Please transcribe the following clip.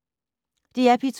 DR P2